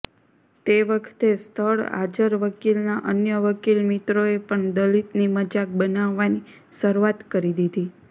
તે વખતે સ્થળ હાજર વકીલના અન્ય વકીલમિત્રોએ પણ દલિતની મજાક બનાવવાની શરૂઆત કરી દીધી